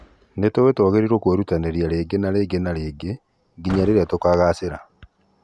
Nĩtũĩ twagĩrĩiwo kwĩrutanĩria rĩngĩ na rĩngĩ na rĩngĩ nginya rĩrĩa tukagacĩra.